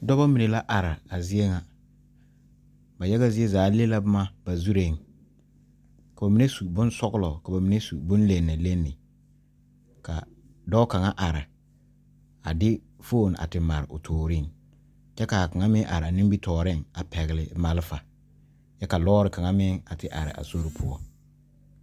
Dɔɔba mine la are a zie ŋa ba zie zaa le la boma ba zure kaa mine su bonsɔglɔ ka ba mine su bon lene lene ka dɔɔ kaŋa are a de foon te mare o tore kyɛ kaa kaŋa meŋ are a nimitɔɔre a pegle malefa kyɛ ka lɔre kaŋa meŋ a te are a sori poɔ.